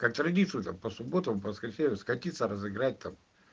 как традицию там по субботам воскресеньям скатиться разыграть там